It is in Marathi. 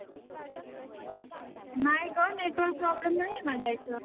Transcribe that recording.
नाही गं network problem नाहीये माझ्या इथं.